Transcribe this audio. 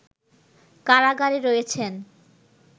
কারাগারে রয়েছেন